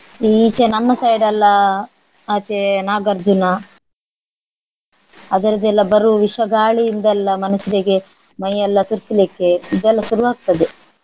ಈಚೆ ನಮ್ಮ side ಎಲ್ಲಾ ಆಚೆ ನಾಗಾರ್ಜುನ ಅದರದೆಲ್ಲ ಬರುವ ವಿಷ ಗಾಳಿಯಿಂದೆಲ್ಲ ಮನುಷ್ಯರಿಗೆ ಮೈಯೆಲ್ಲಾ ತುರಿಸ್ಲಿಕ್ಕೆ ಇದೆಲ್ಲಾ ಶುರುವಾಗ್ತದೆ.